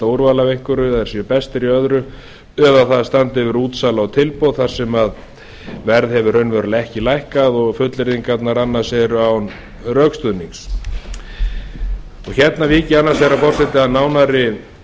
úrval af einhverju að þeir séu bestir í öðru eða að það standi yfir útsala og tilboð þar sem verð hefur raunverulega ekki lækkað og fullyrðingarnar annars eru án rökstuðnings hérna vík ég annars vegar forseti að nánari